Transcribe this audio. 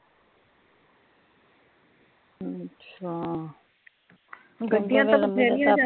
ਅੱਛਾ